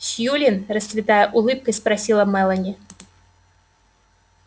сьюлин расцветая улыбкой спросила мелани